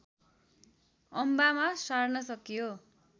अम्बामा सार्न सकियो